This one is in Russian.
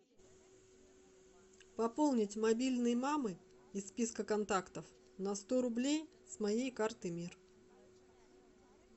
пополнить мобильный мамы из списка контактов на сто рублей с моей карты мир